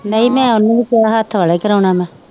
ਨਹੀਂ ਮੈ ਓਹਨੂੰ ਵੀ ਕਿਹਿਆ ਹੱਥ ਵਾਲਾ ਈ ਕਰਾਉਣਾ ਮੈ